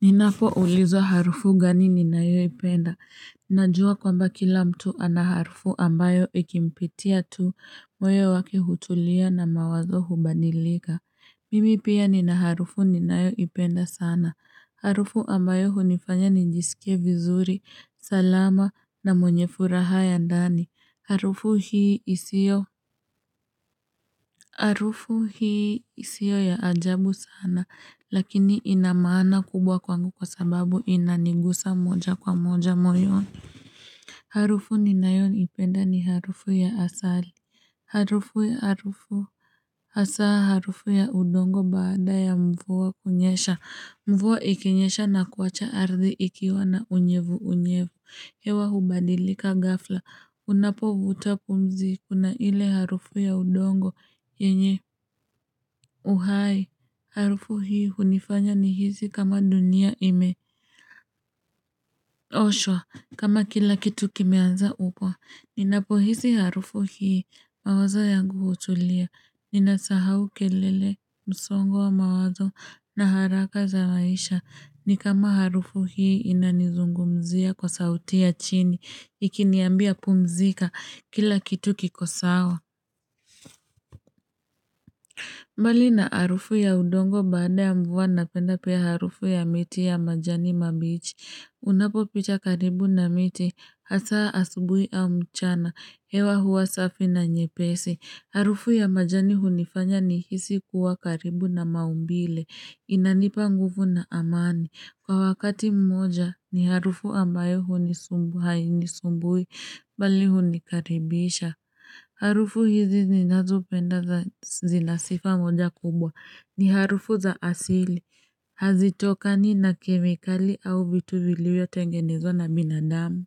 Ninapoulizwa harufu gani ninayoipenda Najua kwamba kila mtu anaharufu ambayo ikimpitia tu moyo wake hutulia na mawazo hubadilika Mimi pia ninaharufu ninayoipenda sana. Harufu ambayo hunifanya nijisike vizuri, salama na mwenye furaha ya ndani. Harufu hii isio ya ajabu sana, lakini inamaana kubwa kwangu kwa sababu inanigusa moja kwa moja moyoni Harufu ninayoipenda ni harufu ya asali. Hasa harufu ya udongo baada ya mvua kunyesha. Mvua ikinyesha na kuwacha ardhi ikiwa na unyevuunyevu. Hewa hubadilika gafla, unapovuta pumzi kuna ile harufu ya udongo yenye uhai. Harufu hii hunifanya nihisi kama dunia imeoshwa, kama kila kitu kimeanza upya. Ninapohisi harufu hii, mawazo yangu hutulia, ninasahau kelele, msongo wa mawazo, na haraka za maisha. Ni kama harufu hii inanizungumzia kwa sauti ya chini, ikiniambia, pumzika kila kitu kiko sawa. Mbali na harufu ya udongo baada ya mvua napenda pia harufu ya miti ya majani mabichi. Unapopita karibu na miti, hasa asubui au mchana, hewa huwa safi na nyepesi. Harufu ya majani hunifanya nihisi kuwa karibu na maumbile. Inanipa nguvu na amani. Kwa wakati mmoja ni harufu ambayo hainisumbui, bali hunikaribisha. Harufu hizi ninazopenda zina sifa mmoja kubwa, ni harufu za asili. Hazitokani na kemikali au vitu vilivyotengenezwa na binadamu.